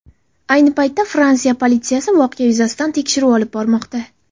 Ayni paytda Fransiya politsiyasi voqea yuzasidan tekshiruv olib bormoqda.